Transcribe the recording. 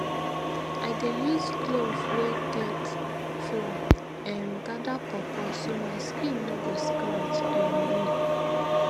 i dey use glove wey get foam um gather pawpaw so my skin no go scratch um me